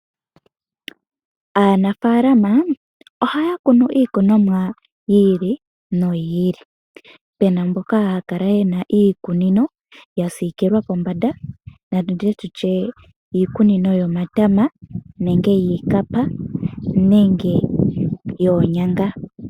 Aanafaalama ohaya kunu iikunomwa yi ili noyi ili, puna mboka haya kala yena iikunino ya siikilwa kombanda natutye iikunino yomatama nenge yiikapa nenge yoonyanga.